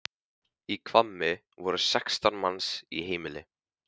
Í Hvammi voru sextán manns í heimili.